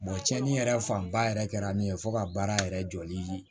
cɛnnin yɛrɛ fanba yɛrɛ kɛra min ye fo ka baara yɛrɛ jɔli